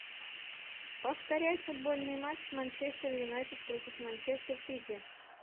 повторяй футбольный матч манчестер юнайтед против манчестер сити